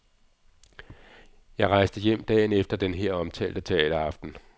Jeg rejste hjem dagen efter den her omtalte teateraften.